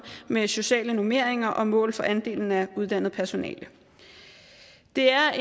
med sociale normeringer og mål for andelen af uddannet personale det er